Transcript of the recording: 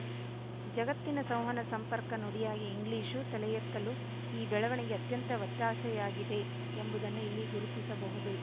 ಜಗತ್ತಿನ ಸಂವಹನ ಸಂಪರ್ಕ ನುಡಿಯಾಗಿ ಇಂಗ್ಲಿಶು ತಲೆಯೆತ್ತಲು ಈ ಬೆಳವಣಿಗೆ ಅತ್ಯಂತ ಒತ್ತಾಸೆಯಾಗಿದೆ ಎಂಬುದನ್ನು ಇಲ್ಲಿ ಗುರುತಿಸಬಹುದು